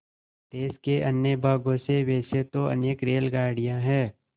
देश के अन्य भागों से वैसे तो अनेक रेलगाड़ियाँ हैं